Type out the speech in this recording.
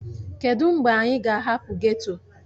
Kedụ mgbe anyị ga-ahapụ geto?